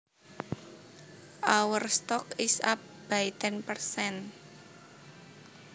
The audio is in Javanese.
Our stock is up by ten percent